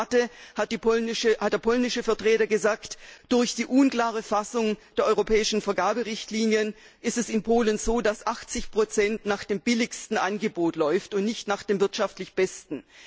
Bei der Debatte hat der polnische Vertreter gesagt Durch die unklare Fassung der europäischen Vergaberichtlinien ist es in Polen so, dass 80 nach dem billigsten Angebot läuft und nicht nach dem wirtschaftlich besten.